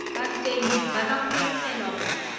bafenyi ba ka holofelwa go